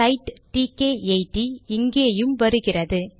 side டிகே 80 இங்கேயும் வருகிறது